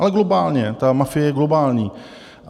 Ale globálně, ta mafie je globální.